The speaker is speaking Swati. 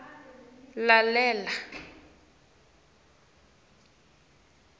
lalela